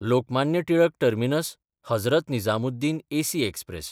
Lokmanya Tilak टर्मिनस–हजरत Nizamuddin AC express